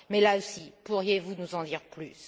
Mais, là aussi, pourriez vous nous en dire plus?